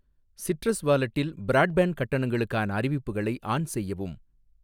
Citrus வாலெட்டில், broadband கட்டணங்களுக்கான அறிவிப்புகளை ஆன் செய்யவும்.